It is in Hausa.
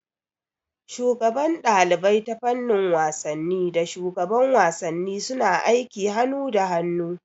Shugaban ɗalibai ta fannin wasanni da shugaban wasanni suna aiki hanu da hanu